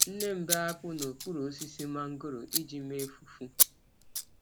Nne m bee akpụ n’okpuru osisi mangoro iji mee fufu.